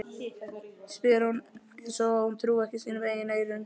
spyr hún eins og hún trúi ekki sínum eigin eyrum.